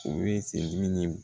U ye se dimi